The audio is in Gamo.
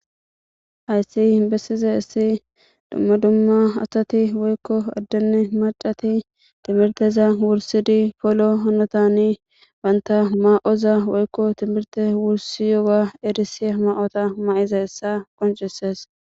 hayssi bessize issi dumma dumma asati woykko addene macati timirteza wursidi polo honotani banta ma7oza woykko timirte wursi yoga erisiya ma7ota ma7iza hessa qoncisees